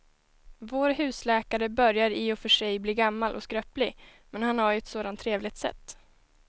Vår husläkare börjar i och för sig bli gammal och skröplig, men han har ju ett sådant trevligt sätt!